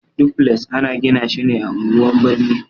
Dufles ana gina shi ne a unguwan birni.